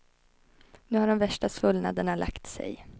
Nu har de värsta svullnaderna lagt sig.